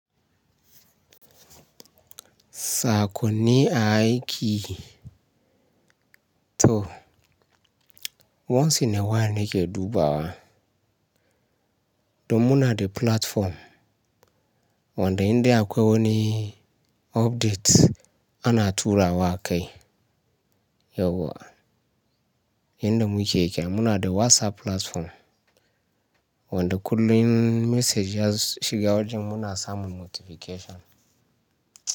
Saƙonni a aiki, to once in a while ne ke dubawa. Don muna da platform wanda in dai akwai wani update ana turawa a kai. Yauwa, inda mu ke kya muna da WhatsApp platform. Wanda kullum message ya shiga wajen muna samun notification.